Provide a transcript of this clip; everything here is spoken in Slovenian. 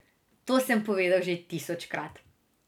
To sem povedal že tisočkrat.